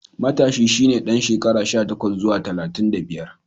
Matashi shi ne ɗan shekara sha takwas zuwa talatin da biyar.